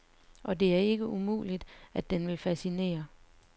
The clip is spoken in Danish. Og det er ikke umuligt, at den vil fascinere.